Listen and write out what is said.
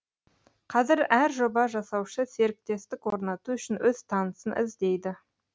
қазір әр жоба жасаушы серіктестік орнату үшін өз танысын іздейді